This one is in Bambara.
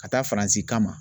Ka taa Faransi kama.